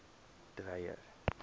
dreyer